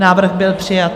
Návrh byl přijat.